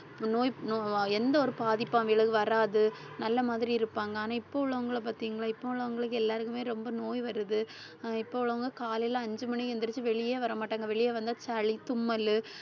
நோய்ப் நோவா~ எந்த ஒரு பாதிப்பும் அவிகளுக்கு வராது நல்ல மாதிரியிருப்பாங்க. ஆனா இப்ப உள்ளவங்களை பார்த்தீங்களா இப்ப உள்ளவங்களுக்கு எல்லாருக்குமே ரொம்ப நோய் வருது அஹ் இப்ப உள்ளவங்க காலையில அஞ்சு மணிக்கு எந்திரிச்சு வெளியே வரமாட்டாங்க வெளிய வந்தா சளி தும்மல்